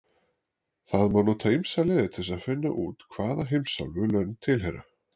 Það má nota ýmsar leiðir til þess að finna út hvaða heimsálfu lönd tilheyra.